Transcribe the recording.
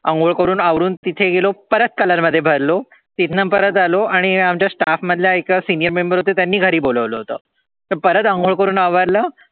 अंघोळ करुन आवरुन तिथे गेलो तिथे परत color मध्ये भरलो तिथनं परत आलो आमच्या स्टाफ़ मधल्या एका senior member होते त्यांनी घरी बोलावलं होतं परत अंघोळ करुन आवरलं